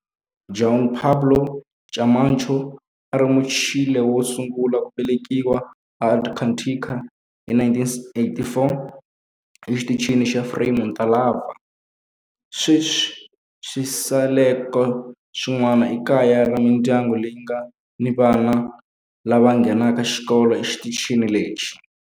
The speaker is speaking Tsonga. Juan Pablo Camacho a a ri Muchile wo sungula ku velekiwa eAntarctica hi 1984 eXitichini xa Frei Montalva. Sweswi swisekelo swin'wana i kaya ra mindyangu leyi nga ni vana lava nghenaka xikolo exitichini lexi.